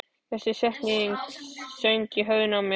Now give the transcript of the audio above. Þessi setning söng í höfðinu á mér.